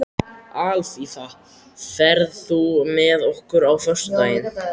Alfífa, ferð þú með okkur á föstudaginn?